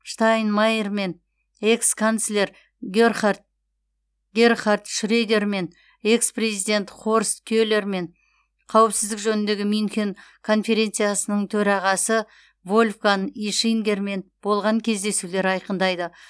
штайнмайермен экс канцлер герхард шредермен экс президент хорст келермен қауіпсіздік жөніндегі мюнхен конференциясының төрағасы вольфганг ишингермен болған кездесулер айқындайды